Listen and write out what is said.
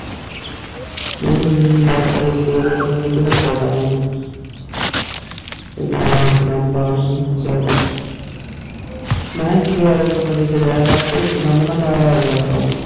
ਹੱਮ ਬਾਰ ਟਰੇਸੀ ਹੋਵੇ ਤੇ ਮਾਰੀ ਲਿਵ ਫੋਰ ਵਾਂਗੂ ਜਾਵਾ ਇਕ ਡੈਮ ਬਾਰ ਨੂੰ ਦੇ ਘਰ ਮਹਾ AC ਆਲੇ ਕਮਰੇ ਛ ਰਿਆ ਕਰ ਤੇ ਇਕ ਡੈਮ ਨਾ ਬਾਰ ਅਵਿਆ ਕਰੋ